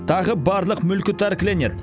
тағы барлық мүлкі тәркіленеді